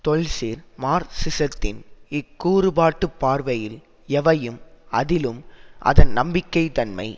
தொல்சீர் மார்சிசத்தின் இக்கூறுபாட்டுப் பார்வையில் எவையும் அதிலும் அதன் நம்பிக்கை தன்மை